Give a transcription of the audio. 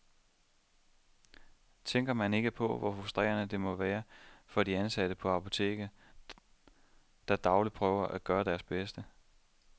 Tænker man ikke på, hvor frustrerende det må være for de ansatte på apotekerne, der dagligt prøver at gøre deres bedste.